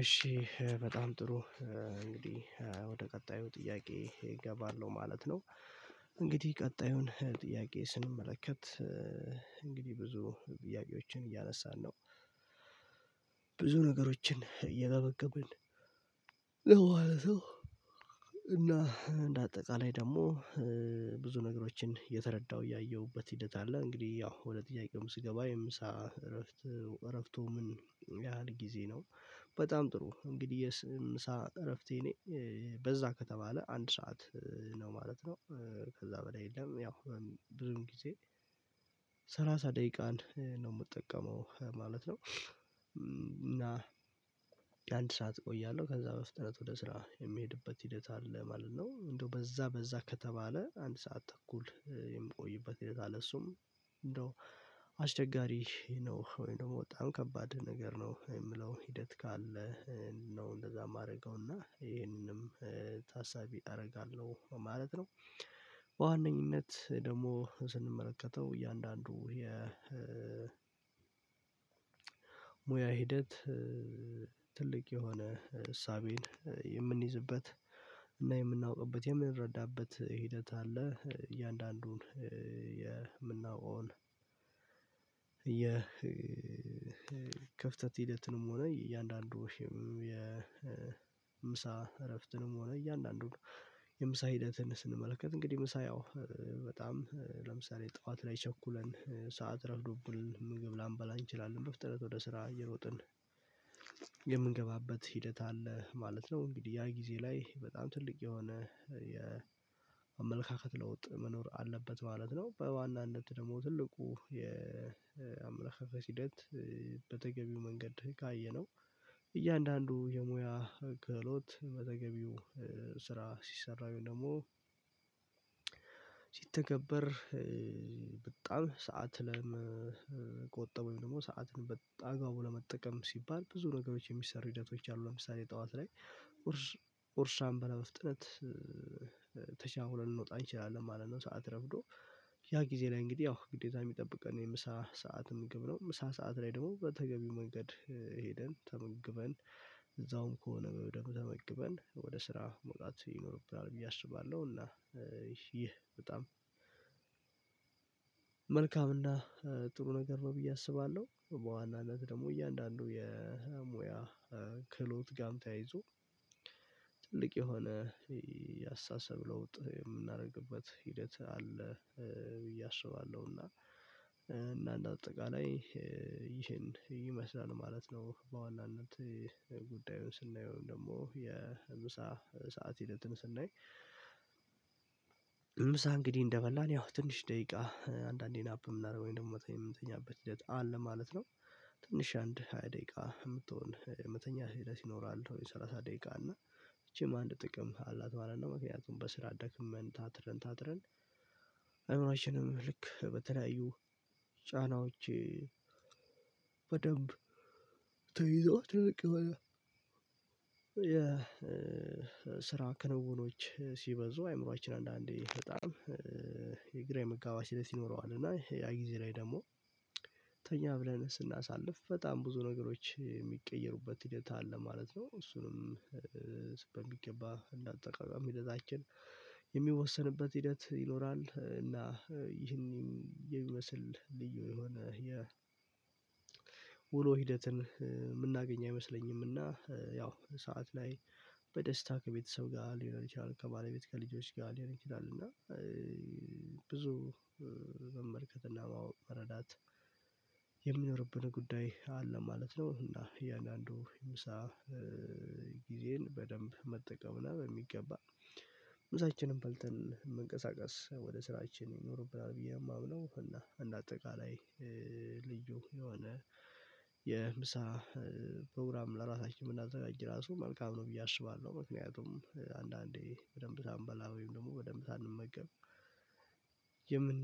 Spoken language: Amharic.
እሺ በጣም ጥሩ። እንግዲህ ወደ ቀጣዩ ጥያቄ እገባለሁ ማለት ነው። እንግዲህ ቀጣዩን ጥያቄ ስንመለከት። እንግዲህ ብዙ ጥያቄዎችን እያነሳን ነው። ብዙ ነገሮችን እየተመገብን። እና በአጠቃላይ ደግሞ ብዙ ነገሮችን የተረዳው ያየሁበት ሂደት አለ። እንግዲህ ያው ሁለት ጥያቄው ስገባ የምሳ እረፍት እረፍቶ ምን ያህል ጊዜ ነው? በጣም ጥሩ እንግዲህ የምሳ እረፍቴ እኔ በዛ ከተባለ አንድ ሰዓት ነው ማለት ነው። ከዛ በላይ የለም። ያው ድርም ጊዜ ሰላሳ ደቂቃን ነው የምጠቀመው ማለት ነው። እና የአንድ ሰዓት እቆያለሁ ከዛ በፍጥነት ወደ ስራ የሚሄድበት ሂደት አለ ማለት ነው። እንደው በዛ በዛ ከተባለ አንድ ሰዓት ተኩል የምቆይበት ሂደት አለ። እሱም እንደው አስቸጋሪ ነው ወይ ነው የምወጣው ከባድ ነገር ነው የምለው ሂደት ካለ ነው እንደዛ የማደርገውና ይሄንንም ታሳቢ አደርጋለሁ ማለት ነው። በዋነኝነት ደግሞ ስንመለከተው እያንዳንዱ የ ሙያ ሂደት ትልቅ የሆነ እሳቤን የምንይዝበት እና የምናውቅበት የምንረዳበት ሂደት አለ። እያንዳንዱን የምናውቀውን ክፍተት ሂደትንም ሆነ እያንዳንዱም የምሳ እረፍትንም ሆነ እያንዳንዱ ነው። የምሳ ሂደትን ስንመለከት እንግዲህ ምሳ ያው በጣም ለምሳሌ ጠዋት ላይ ቸኩለን ሰዓት ረብ ዶብልን ምግብ ላምበላ እንችላለን በፍጥነት ወደ ስራ እየሮጥን የምንገባበት ሂደት አለ ማለት ነው። እንግዲህ ያ ጊዜ ላይ በጣም ትልቅ የሆነ የአመለካከት ለውጥ መኖር አለበት ማለት ነው። በዋና አንድ ደግሞ ትልቁ የአምላካ ሂደት በተገቢው መንገድ ካየነው እያንዳንዱ የሙያ ክህሎት መዘገቢው ስራ ሲሰራ ወይም ደግሞ ሲተገበር በጣም ሰዓት ለመቆጠብ ወይም ደግሞ ሰዓትን በአግባቡ ለመጠቀም ሲባል ብዙ ነገሮች የሚሰሩ ሂደቶች አሉ። ለምሳሌ ጠዋት ላይ ኡርሻም በለመፍጠን ተቻኩለን ልንወጣ እንችላለን ማለት ነው። ሰዓት ረፍዶ ያ ጊዜ ላይ እንግዲህ ያው ግዴታ የሚጠብቀን የምሳ ሰዓት ምግብ ነው ምሳ ሰዓት ላይ ደግሞ በተገቢው መንገድ ሄደን ተመግበን እዛውም ከሆነ በደንብ ተመግበን ወደ ስራ መውጣት ይኖርብናል ብዬ አስባለሁ። እና ይህ በጣም መልካም እና ጥሩ ነገር ነው ብዬ አስባለሁ። በዋናነት ደግሞ እያንዳንዱ የሙያ ክሎት ክህሎት ጋር ተያይዞ ትልቅ የሆነ ያስተሳሰብ ለውጥ የምናደርግበት ሂደት አለ ብዬ አስባለሁና እና እና እንደ አጠቃላይ ይሄን ይመስላል ማለት ነው። በዋናነት ጉዳዩን ስናየው ደግሞ የምሳ ሰዓት ሂደትን ስናይ ምሳ እንግዲህ እንደበላን ያው ትንሽ ደቂቃ አንዳንዴን ናፕ የምናደርገው ደግሞ የምትተኛበት ሂደት አለ ማለት ነው። ትንሽ አንድ ሃያ ደቂቃ የምትሆን መተኛ ህይወት ይኖራል ወይ ሰላሳ ደቂቃ እና ይቺም አንድ ጥቅም አላት ማለት ነው። መኪናውን በስራ ደክመን ታትረን ታትረን አይሁናችንም ልክ በተለያዩ ጫናዎቼ በደንብ ተይዘው ትልቅ የስራ ክንውኖች ሲበዙ አይምሮአችን አንዳንዴ በጣም የግራ የመጋባት ሲለት ይኖረዋል እና ያ ጊዜ ላይ ደግሞ ተኛ ብለን ስናሳልፍ በጣም ብዙ ነገሮች የሚቀየሩበት ሂደት አለ ማለት ነው። እሱንም በሚገባ ተቋቋም ሂደታችን የሚወሰንበት ሂደት ይኖራል እና ይህንን የሚመስል ልዩ የሆነ የ ውሎ ሂደትን የምናገኝ አይመስለኝምና ያው ሰዓት ላይ በደስታ ከቤተሰብ ጋር ሊሆን ይችላል ከባለቤት ከልጆች ጋር ሊሆን ይችላል እና ብዙ መመልከት እና መረዳት የሚኖርብን ጉዳይ አለ ማለት ነው። እና እያንዳንዱ ምሳ ጊዜን በደንብ መጠቀም ነው በሚገባ ምሳችንን በልተን መንቀሳቀስ ወደ ስራችን ይኖርብናል ብዬ የማውለው እና እንደ አጠቃላይ ልጁ የሆነ የምሳ ፕሮግራም ለራሳችን ብናዘጋጅ ራሱ መልካም ነው ብዬ አስባለሁ ምክንያቱም አንዳንዴ በደንብ ሳንበላ ወይም ደግሞ በደንብ ሳንመገብ የምን